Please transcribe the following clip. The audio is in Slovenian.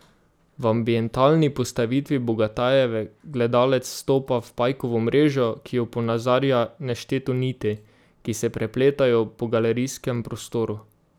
V ambientalni postavitvi Bogatajeve gledalec vstopa v pajkovo mrežo, ki jo ponazarja nešteto niti, ki se prepletajo po galerijskem prostoru.